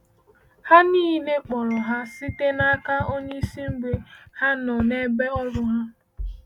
Ha niile kpọrọ ha site n’aka onye isi mgbe ha nọ n’ebe ọrụ ha.